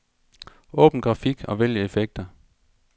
Åbn grafik og vælg effekter.